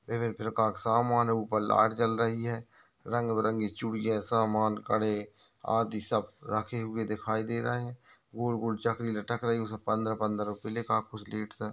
विभिन्न प्रकार के सामान है ऊपर लाइट जल रही है रंग बिरंगी चूड़िया सामान कड़े आदि सब रखे हुए दिखाई दे रहे है गोल-गोल चकरी लटक रही है पंद्रह-पंद्रह रुपय लिखा है कुछ लीड्स --